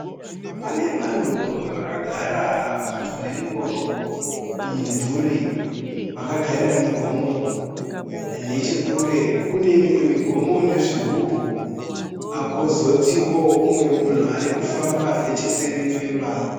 Pane vanhu vakagara padyo nengoro mumumvuri, vakagarira migomo. Nechokure kune mimwe migomo nezvigubhu, kwozotiwo munhu ari kufamba necheseri kwemba.